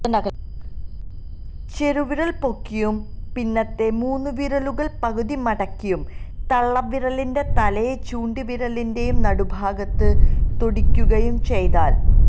ചെറുവിരല് പൊക്കിയും പിന്നത്തെ മൂന്നുവിരലുകള് പകുതി മടക്കിയും തള്ളവിരലിന്റെ തലയെ ചൂണ്ടുവിരലിന്റെ നടുഭാഗത്ത് തൊടീക്കുകയും ചെയ്താല്